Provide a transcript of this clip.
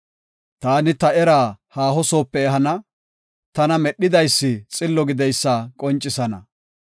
Taani ta eraa haaho soope ehana; tana Medhidaysi xillo gideysa qoncisana.